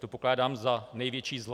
Tu pokládám za největší zlo.